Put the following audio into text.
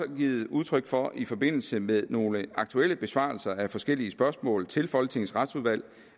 givet udtryk for i forbindelse med nogle aktuelle besvarelser af forskellige spørgsmål til folketingets retsudvalg